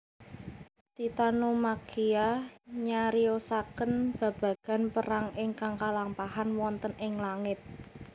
Titanomakhia nyariosaken babagan perang ingkang kalampahan wonten ing langit